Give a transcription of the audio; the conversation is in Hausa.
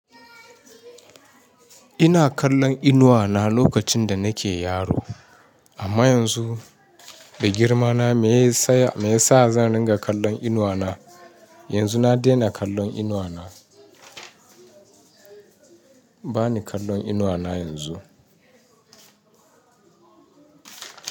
Ina kallon inuwa na lokacin da nake yaro. Amma yanzu, da girma na me ya sa, me ya sa zan ringa kallon inuwa na? Yanzu na dena kallon inuwa na. Ba ni kallon inuwa na yanzu.